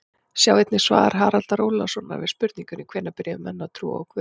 Sjá einnig svar Haraldar Ólafssonar við spurningunni Hvenær byrjuðu menn að trúa á guð?